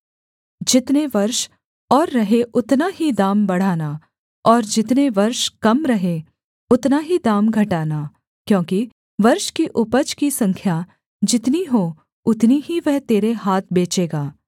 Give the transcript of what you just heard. जितने वर्ष और रहें उतना ही दाम बढ़ाना और जितने वर्ष कम रहें उतना ही दाम घटाना क्योंकि वर्ष की उपज की संख्या जितनी हो उतनी ही वह तेरे हाथ बेचेगा